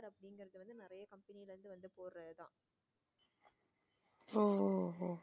ஓஹ ஓஹ